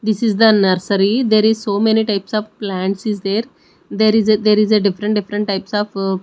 this is the nursery there is so many types of plants is there there is a there is a different different types of--